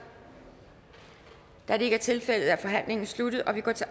da det ikke er tilfældet er forhandlingen sluttet og vi går til